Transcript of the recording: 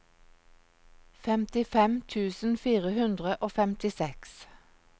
femtifem tusen fire hundre og femtiseks